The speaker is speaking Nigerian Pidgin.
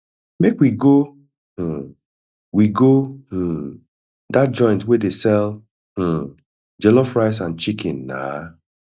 make we go um we go um dat joint wey dey sell um jollof rice and chicken na